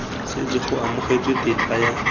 setse go amogetswe tetla ya